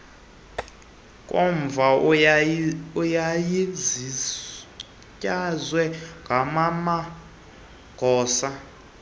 nkomfa yayizinyaswe ngamamagosa